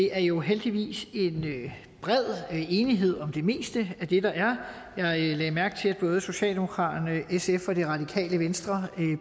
er jo heldigvis en bred enighed om det meste af det der er jeg lagde mærke til at både socialdemokratiet sf og det radikale venstre